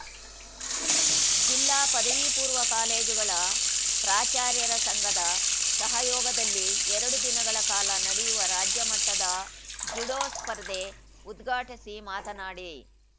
ಜಿಲ್ಲಾ ಪದವಿಪೂರ್ವ ಕಾಲೇಜುಗಳ ಪ್ರಾಚಾರ್ಯರ ಸಂಘದ ಸಹಯೋಗದಲ್ಲಿ ಎರಡು ದಿನಗಳ ಕಾಲ ನಡೆಯುವ ರಾಜ್ಯ ಮಟ್ಟದ ಜುಡೋ ಸ್ಪರ್ಧೆ ಉದ್ಘಾಟಿಸಿ ಮಾತನಾಡಿ